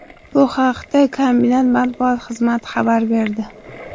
Bu haqda kombinat matbuot xizmati xabar berdi .